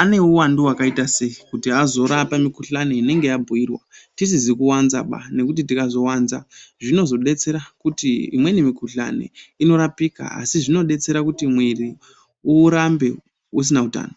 ane uwandu wakaita sei kuti azorape mikhuhlani inenge yabhirwa tisizi kuwanzaba nekuti tikawanzs zvinozodetsera kuti imweni mikhuhlani inorapika asi zvinodetsera kuti mwiri urambe usina utano.